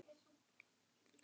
Þinn Birgir Jarl.